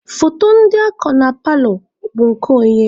Foto ndị a ko na paalọ a, bụ nke onye?